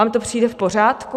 Vám to přijde v pořádku?